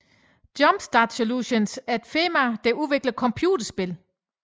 Jumpstart Solutions er et firma der udvikler computerspil